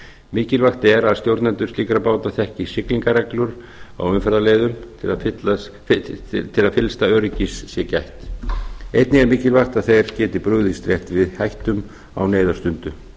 mikilvægt er að stjórnendur slíkra báta þekki siglingareglur á umferðarleiðum til að fyllsta öryggis sé gætt einnig er mikilvægt að þeir geti brugðist rétt við hættum á neyðarstundu